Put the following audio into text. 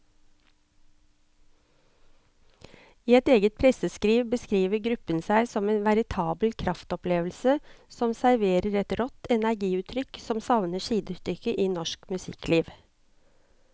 I sitt eget presseskriv beskriver gruppen seg som en veritabel kraftopplevelse som serverer et rått energiutrykk som savner sidestykke i norsk musikkliv.